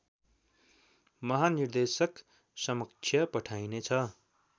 महानिर्देशक समक्ष पठाइने छ